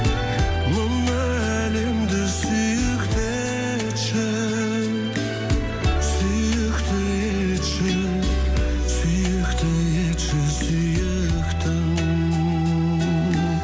мынау әлемді сүйікті етші сүйікті етші сүйікті етші сүйіктім